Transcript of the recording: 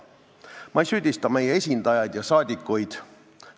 Ma ei süüdista meie esindajaid ja saadikuid.